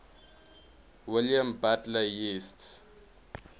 william butler yeats